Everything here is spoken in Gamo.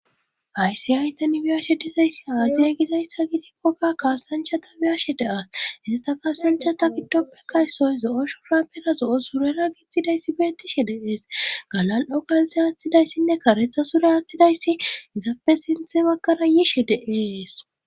ayssi aytan biyashe dizayssi aasiya gizayssa gidikkoka kaasanchata biyashe deas hesa ta kaasanchata giddoppe kay soy zo7o shurapera zo7o surera gittidayssi beettishe deees galan7okalze aaththidayssinne karetha sure aaththidayssi izaappe sinthe bagkara yiishe deees